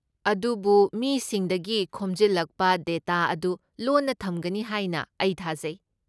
ꯑꯗꯨꯕꯨ ꯃꯤꯁꯤꯡꯗꯒꯤ ꯈꯣꯝꯖꯤꯜꯂꯛꯄ ꯗꯦꯇꯥ ꯑꯗꯨ ꯂꯣꯟꯅ ꯊꯝꯒꯅꯤ ꯍꯥꯏꯅ ꯑꯩ ꯊꯥꯖꯩ?